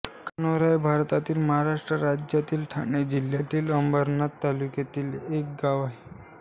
कान्होर हे भारतातील महाराष्ट्र राज्यातील ठाणे जिल्ह्यातील अंबरनाथ तालुक्यातील एक गाव आहे